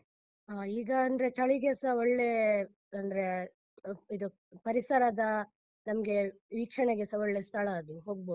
ಹಾ, ಈಗ ಅಂದ್ರೆ ಚಳಿಗೆಸ ಒಳ್ಳೇ, ಅಂದ್ರೆ ಇದು ಪರಿಸರದ ನಮ್ಗೆ ವೀಕ್ಷಣೆಗೆಸ ಒಳ್ಳೆ ಸ್ಥಳ ಅದು, ಹೊಗ್ಬೋದು.